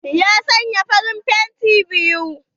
Ya saya farin fenti biyu.